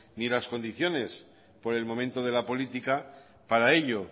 ni las condiciones por el momento de la política para ello